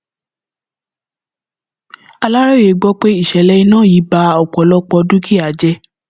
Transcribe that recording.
aláròye gbọ pé ìṣẹlẹ iná yìí ba ọpọlọpọ dúkìá jẹ